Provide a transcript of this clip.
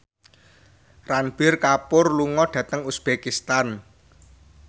Ranbir Kapoor lunga dhateng uzbekistan